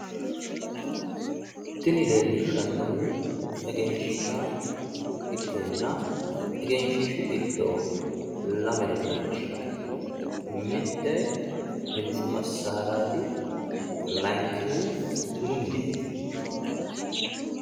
tini leellishshannohu egenshiishsha ikkanna egenshiishshu giddo lamere leellishshsanno mitte hintsu massaaraati layiinkihu bunu mineeti.